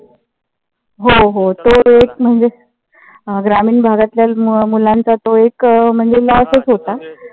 हो हो तो एक म्हणजेच, ग्रामीण भागातल्या मुलांचा तो एक म्हणजे loss च होता.